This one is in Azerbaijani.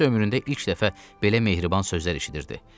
Topsi ömründə ilk dəfə belə mehriban sözlər eşidirdi.